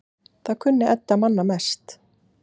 Það kunni Edda manna best.